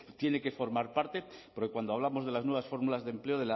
tiene que formar parte porque cuando hablamos de las nuevas fórmulas de empleo